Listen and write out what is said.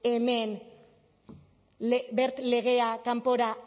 hemen wert legea kanpora